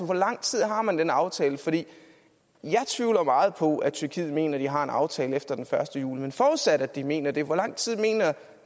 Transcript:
hvor lang tid har man den aftale for jeg tvivler meget på at tyrkiet mener at de har en aftale efter den første juli men forudsat at de mener det hvor lang tid mener